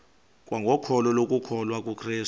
kwangokholo lokukholwa kukrestu